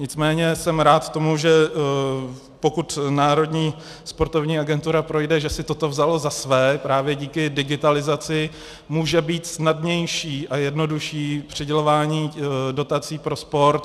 Nicméně jsem rád tomu, že pokud Národní sportovní agentura projde, že si toto vzalo za své, právě díky digitalizaci může být snadnější a jednodušší přidělování dotací pro sport.